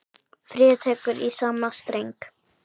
Fríða tekur í sama streng.